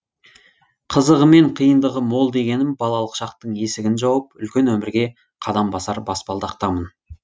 қызығы мен қиындығы мол дегенім балалық шақтың есігін жауып үлкен өмірге қадам басар баспалдақтамын